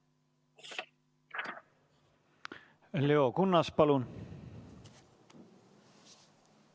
Leo Kunnas, palun!